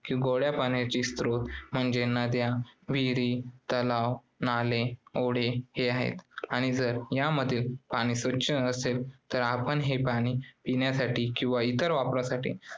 कि गोडया पाण्याची स्त्रोत म्हणजे नद्या, विहिरी, तलाव, नाले ओढे हे आहेत आणि जर यामधील पाणी स्वच्छ असेल तर आपण हे पाणी पिण्यासाठी किंवा इतर वापरासाठी